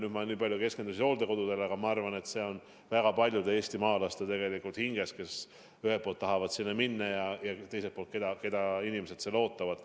Ma keskendusin nüüd eelkõige hooldekodudele, aga ma arvan, et see on väga paljude eestimaalaste hinges – on väga palju neid, kes ühelt poolt tahavad sinna minna ja keda teiselt poolt sealsed inimesed ootavad.